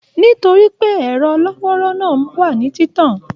Nitori pé ẹrọ lọ́wọ́rọ̀ náà wà ní titan